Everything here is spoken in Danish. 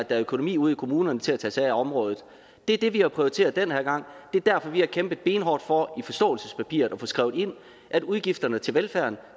er økonomi ude i kommunerne til at tage sig af området det er det vi har prioriteret den her gang det er derfor vi har kæmpet benhårdt for i forståelsespapiret at få skrevet ind at udgifterne til velfærden